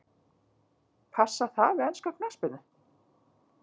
Passar það við enska knattspyrnu?